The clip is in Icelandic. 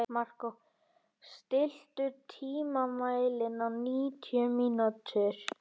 Markó, stilltu tímamælinn á níutíu mínútur.